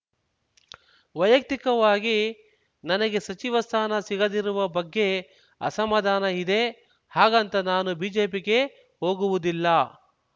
ವೈಯಕ್ತಿಕವಾಗಿ ನನಗೆ ಸಚಿವ ಸ್ಥಾನ ಸಿಗದಿರುವ ಬಗ್ಗೆ ಅಸಮಾಧಾನ ಇದೆ ಹಾಗಂತ ನಾನು ಬಿಜೆಪಿಗೆ ಹೋಗುವುದಿಲ್ಲ